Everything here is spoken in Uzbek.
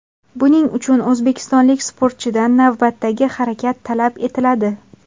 Buning uchun o‘zbekistonlik sportchidan navbatdagi harakat talab etiladi.